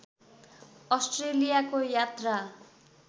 अस्ट्रेलियाको यात्रा